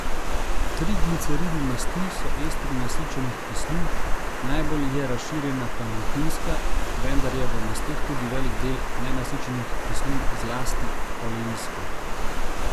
Trigliceridi masti so estri nasičenih kislin, najbolj je razširjena palmitinska, vendar je v masteh tudi velik del nenasičenih kislin, zlasti oleinske.